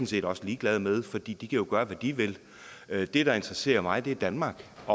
set også ligeglad med for de kan jo gøre hvad de vil det der interesserer mig er danmark